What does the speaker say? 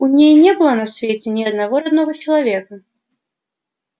у ней не было на свете ни одного родного человека